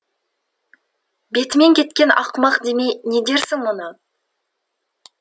бетімен кеткен ақымақ демей не дерсің мұны